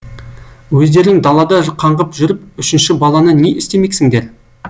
өздерің далада қаңғып жүріп үшінші баланы не істемексіңдер